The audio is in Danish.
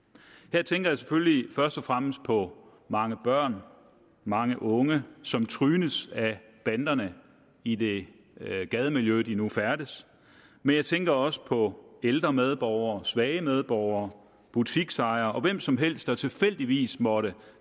her tænker jeg selvfølgelig først og fremmest på mange børn mange unge som trynes af banderne i det gademiljø hvor de nu færdes men jeg tænker også på ældre medborgere svage medborgere butiksejere og hvem som helst der tilfældigvis måtte